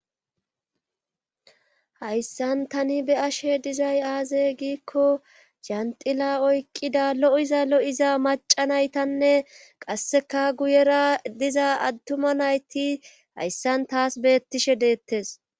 Hayssan tani be7ashe dizay aaze giikko anxxila oukkida lo7iza lo7iza macca naytanne qasseka guyera diza attuuma nayti hayssan taas beetishe deettes.